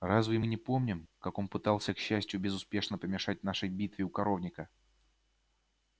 разве мы не помним как он пытался к счастью безуспешно помешать нашей битве у коровника